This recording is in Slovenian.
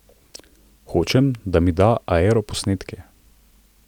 Hočem, da mi da aeroposnetke ...